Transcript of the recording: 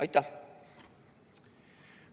Aitäh!